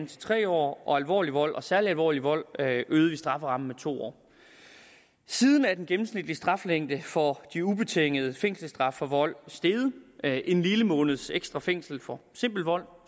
til tre år og for alvorlig vold og særlig alvorlig vold øgede vi strafferammen med to år siden er den gennemsnitlige straflængde for de ubetingede fængselsstraffe for vold steget med en lille måneds ekstra fængsel for simpel vold